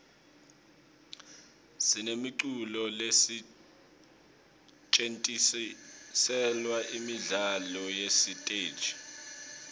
sinemiculo lesetjentiselwa imidlalo yesiteji